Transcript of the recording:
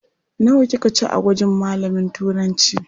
Nawa kika ci a gwajin malamin Turancı?